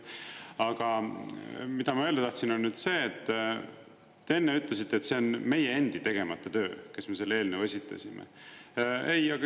Aga mida ma öelda tahtsin, on see, et te enne ütlesite, et see on meie endi tegemata töö, kes me selle eelnõu esitasime.